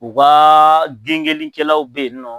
U ka gengenlikɛlaw bɛ yen nɔ